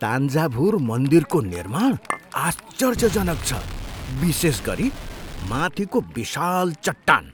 तान्जाभुर मन्दिरको निर्माण आश्चर्यजनक छ, विशेष गरी माथिको विशाल चट्टान।